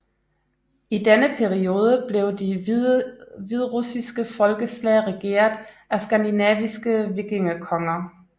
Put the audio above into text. I denne periode blev de hviderussiske folkeslag regeret af skandinaviske vikingekonger